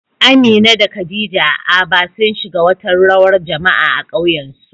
Amina da Khadija a Aba, sun shiga wata rawar jama'a a ƙauyensu